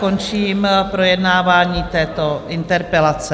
Končím projednávání této interpelace.